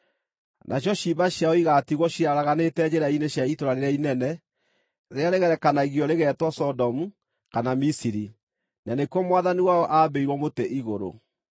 Nacio ciimba ciao igaatigwo ciaraganĩte njĩra-inĩ cia itũũra rĩrĩa inene, rĩrĩa rĩgerekanagio rĩgetwo Sodomu kana Misiri, na nĩkuo Mwathani wao aambĩirwo mũtĩ igũrũ.